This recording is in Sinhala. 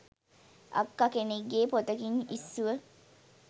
අක්ක කෙනෙක්ගෙ පොතකින් ඉස්සුව